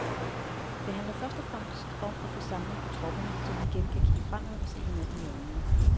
Det handler først og fremmest om at få samling på tropperne, så vi igen kan kigge fremad og se hinanden i øjnene.